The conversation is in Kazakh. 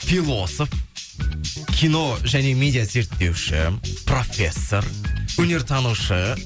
философ кино және медиа зерттеуші профессор өнертанушы